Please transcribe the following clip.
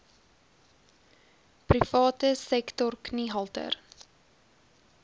private sektor kniehalter